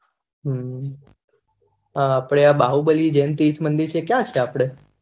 હમ અને આં આપળે બાહુબલી જેન તીસ્મંડી છે ક્યાં છે આપડે?